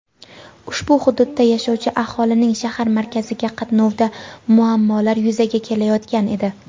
ushbu hududda yashovchi aholining shahar markaziga qatnovida muammolar yuzaga kelayotgan edi.